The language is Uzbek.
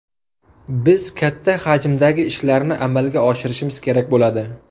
Biz katta hajmdagi ishlarni amalga oshirishimiz kerak bo‘ladi.